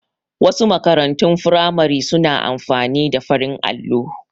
Wasu makarantun firamare su na amfani da farin allo